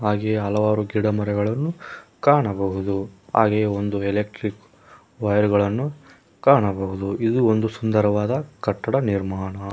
ಹಾಗೆ ಹಲವಾರು ಗಿಡಮರಗಳನ್ನು ಕಾಣಬಹುದು ಹಾಗೆ ಒಂದು ಎಲೆಕ್ಟ್ರಿಕ್ ವೈರ್ ಗಳನ್ನು ಕಾಣಬಹುದು ಇದು ಒಂದು ಸುಂದರವಾದ ಕಟ್ಟಡ ನಿರ್ಮಾಣ.